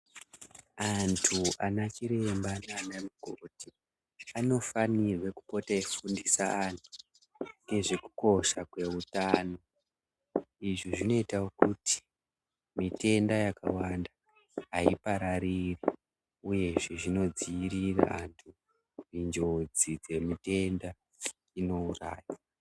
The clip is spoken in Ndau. Antu anachiremba nanamukoti anofanirwe kupote eyifundisa antu ngezvekukosha kwewutano. Izvi zvinoyitawo kuti mitenda yakawanda hayiparari, uyezve, zvinodziyirira antu njodzi dzemitenda inowuraya.